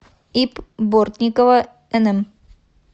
ип бортникова нм